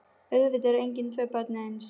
Auðvitað eru engin tvö börn eins.